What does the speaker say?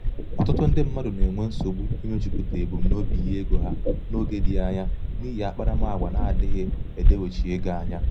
ọ̀tụtụ ndị mmadụ̀ nà-ènwe nsògbu imējūpùtà ebumnobi ihe egō hā n’oge dị̄ anya n’ihì akparamàgwà adị̄ghị̄ èdewechi egō anya.